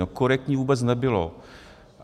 No korektní vůbec nebylo.